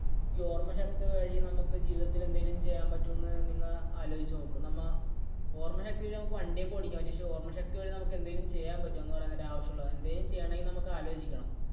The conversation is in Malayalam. ഈ ഓർമ്മശക്തി വഴി നമുക്ക് ജീവിതത്തിൽ എന്തെങ്കിലും ചെയ്യാൻ പറ്റുമോ എന്ന് നിങ്ങൾ ആലോചിച്ചുനോക്ക്. നമ്മൾ ഓർമ്മശക്തി നമുക്ക് വണ്ടി ഒക്കെ ഓടിക്കാൻ പറ്റും. പക്ഷേ ഓർമ്മശക്തി വഴി നമുക്ക് എന്തെങ്കിലും ചെയ്യാൻ പറ്റുമോ എന്ന് പറയാൻ നേരം എന്തെങ്കിലും ആവശ്യമുള്ളത്. എന്തെങ്കിലും ചെയ്യണമെങ്കിൽ നമുക്ക് ആലോചിക്കണം.